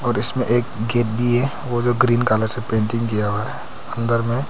इसमें एक गेट भी है जो कि ग्रीन कलर से पेंट किया हुआ है अंदर में।